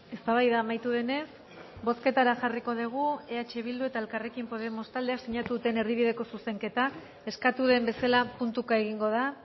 eztabaida amaitu denez bozketara jarriko dugu eh bildu eta elkarrekin podemos taldeek sinatu duten erdibideko zuzenketa eskatu den bezala puntuka egingo da